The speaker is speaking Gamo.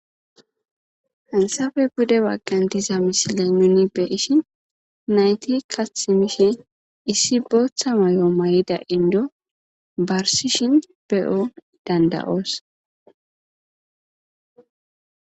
Iansafe bude wagqantiza misiley nuni be ishin nayti kathimishe issi booththa may'o may7ida indo barsishin be'o danda'oos.